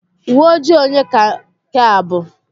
Uwe ojii onye ka nke a bụ?